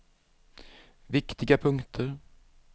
viktiga punkter